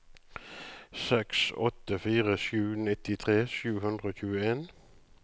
seks åtte fire sju nittitre sju hundre og tjueen